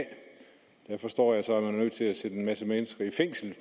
der forstår jeg så at man er nødt til at sætte en masse mennesker i fængsel